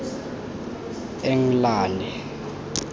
englane